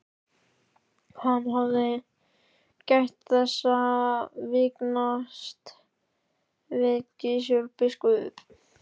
Hann hafði gætt þess að vingast við Gizur biskup.